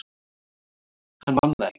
Hann man það ekki.